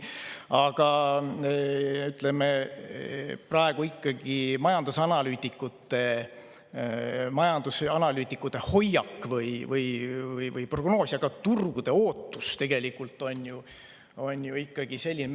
Aga praegu on majandusanalüütikute hoiak või prognoos, ka turgude ootus ju ikkagi selline …